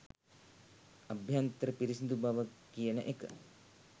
අභ්‍යන්තර පිරිසිදු බව කියන එක